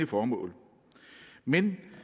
formål men